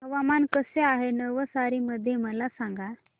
हवामान कसे आहे नवसारी मध्ये मला सांगा